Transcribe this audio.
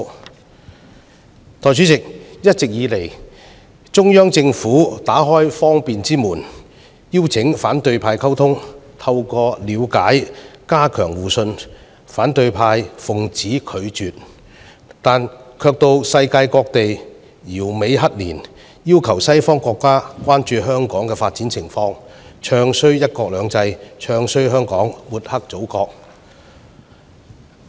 代理主席，一直以來，中央政府打開方便之門，邀請反對派溝通，透過了解加強互信，但反對派奉旨拒絕，卻到世界各地搖尾乞憐，要求西方國家關注香港的發展情況，"唱衰""一國兩制"、"唱衰"香港、抹黑祖國。